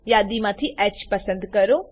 યાદી માંથી હ પસંદ કરો